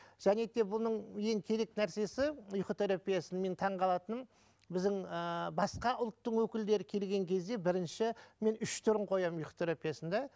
және де бұның ең керек нәрсесі ұйқы терапиясының менің таңғалатыным біздің ііі басқа ұлттың өкілдері келген кезде брінші мен үш түрін қоямын ұйқы терпиясында